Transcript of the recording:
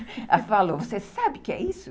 Ela falou, você sabe o que é isso?